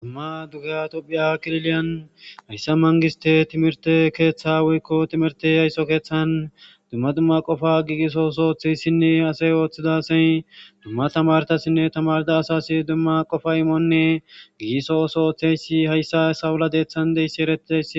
Dumma dug ha tophiya kriliyan hayssa mangiste timirte keeththa woykko timirte haysso keeththan dumma dumma qofa giigiso sooththeyssinne asey ooththidasey dumma tamartassinne tamarda asasi dumma qofa imonne gigisosooththeysi hayssa sawula deethan deyssi eretes